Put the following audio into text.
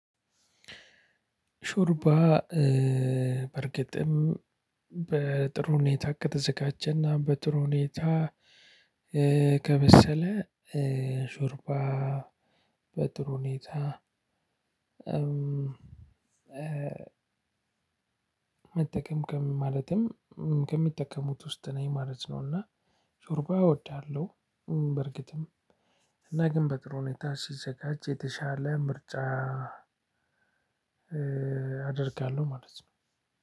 ሾርባ በእርግጥም በጥሩ ሁኔታ ከተዘጋጀና እና በጥሩ ሁኔታ ከበሰለ ሾርባ በጥሩ ሁኔታ። መጠቀምቀም ማለትም ከሚጠቀሙት ውስጥ ነኝ ማለት ነው። እና ሾርባ እወዳለሁ። በርግጥም እና ግን በጥሩ ሁኔታ ሲዘጋጅ የተሻለ ምርጫ። አደርጋለሁ ማለት ነው።